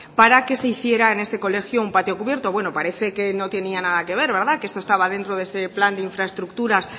para que se hiciera en este colegio un patio cubierto bueno parece que no tenía nada que ver que eso estaba dentro de ese plan de infraestructuras